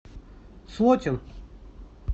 слотин